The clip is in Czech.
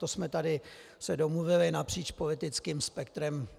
To jsme se tady domluvili napříč politickým spektrem.